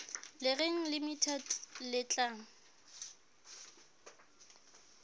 le reng limited le tla